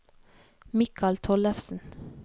Mikal Tollefsen